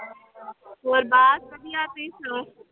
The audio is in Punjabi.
ਹੋਰ ਬਸ ਵਧੀਆ ਤੁਸੀਂ ਸੁਣਾਓ।